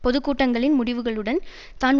பொது கூட்டங்களின் முடிவுகளுடன் தான்